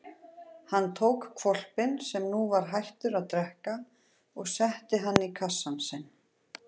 Hann tók hvolpinn sem nú var hættur að drekka og setti hann í kassann sinn.